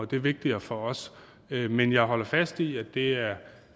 det er vigtigere for os men jeg holder fast i at det er